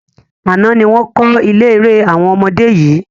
Àná ni wọn kọ́ ilé eré àwọn ọmọdé yìí